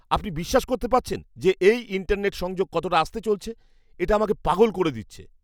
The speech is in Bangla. আপনি বিশ্বাস করতে পারছেন, যে এই ইন্টারনেট সংযোগ কতটা আস্তে চলছে? এটা আমাকে পাগল করে দিচ্ছে!